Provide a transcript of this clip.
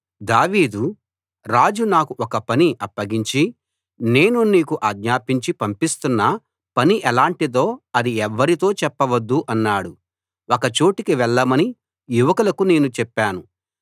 దావీదు రాజు నాకు ఒక పని అప్పగించి నేను నీకు ఆజ్ఞాపించి పంపిస్తున్న పని ఎలాటిదో అది ఎవ్వరితో చెప్పవద్దు అన్నాడు ఒక చోటికి వెళ్ళమని యువకులకు నేను చెప్పాను